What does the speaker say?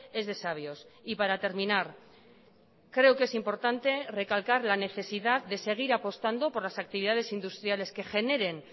es de sabios y para terminar creo que es importante recalcar la necesidad de seguir apostando por las actividades industriales que generen